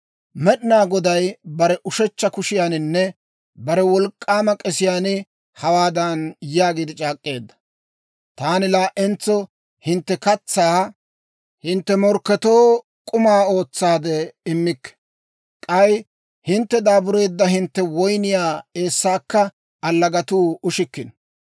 Med'inaa Goday bare ushechcha kushiyaaninne bare wolk'k'aama k'esiyaan hawaadan yaagiide c'aak'k'eedda; «Taani laa"entso hintte katsaa hintte morkketoo k'uma ootsaade immikke; k'ay hintte daabureedda hintte woyniyaa eessaakka allagatuu ushikkino.